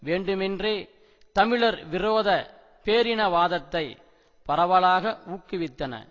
வேண்டுமென்றே தமிழர் விரோத பேரினவாதத்தை பரவலாக ஊக்குவித்தன